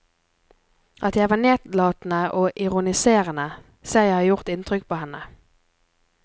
At jeg var nedlatende og ironiserende ser jeg har gjort inntrykk på henne.